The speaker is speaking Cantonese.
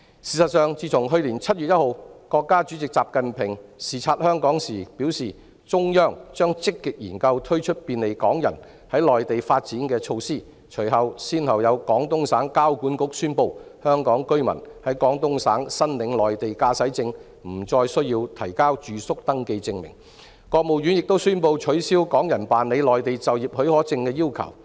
事實上，自從去年7月1日，國家主席習近平視察香港時表示，中央將積極研究推出便利港人在內地發展的措施後，廣東省交通管理局宣布香港居民在廣東省申領內地駕駛證不再需要提交住宿登記證明，而國務院亦宣布取消港人辦理內地就業許可證的要求。